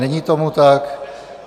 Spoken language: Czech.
Není tomu tak.